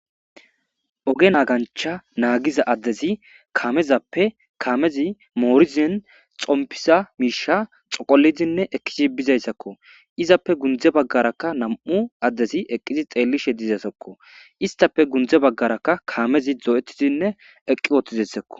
oge naagancha naagiza addezi kamezappe kaamezi moorizin xompisa miisha xoqolizinne ekizi bizayssakko izappe gundze baggarakka nam7u addezi eqqizi xeellishe dizasakko istafe gundze baggarakka kaamezi dzo7etidinne eqqi wotizassakko